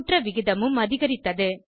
குற்ற விகிதமும் அதிகரித்தது